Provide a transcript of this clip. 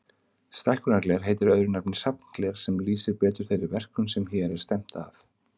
Stækkunargler heitir öðru nafni safngler, sem lýsir betur þeirri verkun sem hér er stefnt að.